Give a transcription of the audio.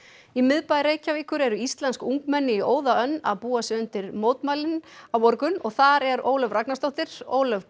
í miðbæ Reykjavíkur eru íslensk ungmenni í óða önn að búa sig undir mótmælin á morgun og þar er Ólöf Ragnarsdóttir Ólöf